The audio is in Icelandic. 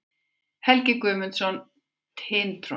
Helgi Guðmundsson, Tintron.